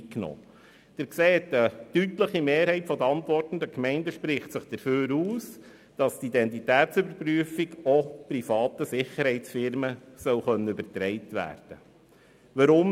Sie sehen, dass sich eine deutliche Mehrheit der antwortenden Gemeinden dafür ausspricht, dass die Identitätsüberprüfung auch privaten Sicherheitsunternehmen übertragen werden darf.